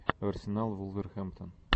арсенал вулверхэмптон